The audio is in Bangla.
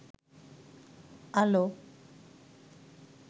আলো